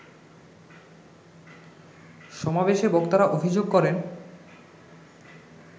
সমাবেশে বক্তারা অভিযোগ করেন